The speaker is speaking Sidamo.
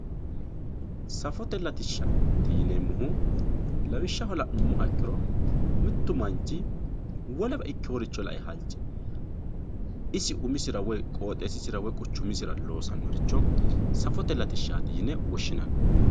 safotete latishshaati yineemmohu lawishshaho la'nummoha ikkiro mittu manchi wolewa ikkewore halche isi umisira woy qooxeessisira woy quchumisira loosannoricho safote latishshaati yine woshshinanni.